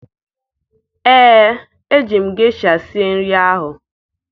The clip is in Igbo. Ee, eji m gesha sie nri ahụ